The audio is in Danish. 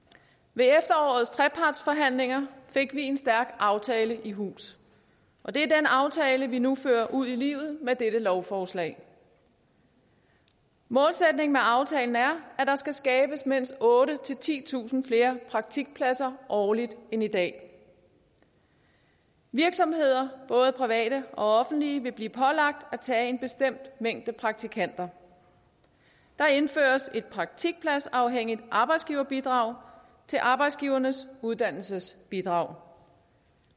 ved efterårets trepartsforhandlinger fik vi en stærk aftale i hus og det er den aftale vi nu fører ud i livet med dette lovforslag målsætningen med aftalen er at der skal skabes mindst otte tusind titusind flere praktikpladser årligt end i dag virksomheder både private og offentlige vil blive pålagt at tage en bestemt mængde praktikanter der indføres et praktikpladsafhængigt arbejdsgiverbidrag til arbejdsgivernes uddannelsesbidrag